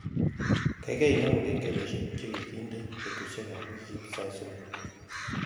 Gaigai inemu kengeleshek chegigindeno betushekab weekit sait somok